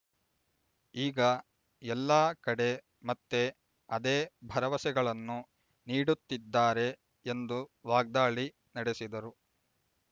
ಈಗ ಎಲ್ಲಾ ಕಡೆ ಮತ್ತೆ ಅದೇ ಭರವಸೆಗಳನ್ನು ನೀಡುತ್ತಿದ್ದಾರೆ ಎಂದು ವಾಗ್ದಾಳಿ ನಡೆಸಿದರು